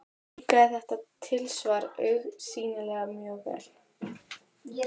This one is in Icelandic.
Líkaði þetta tilsvar augsýnilega mjög vel.